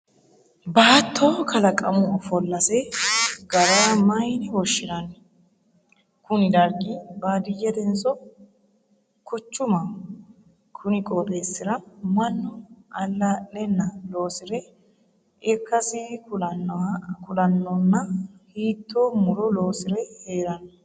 Baatto kallaqumu ofollase gara mayinne woshinnanni? Kunni dargi baadiyetenso kuchumaho? Konni qooxeesira mannu alaa'lenna loosire ikasi kulanonna hiitoo muro loosire heerano?